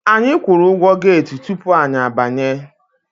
Anyi kwụrụ ụgwọ get tupu anyị abanye.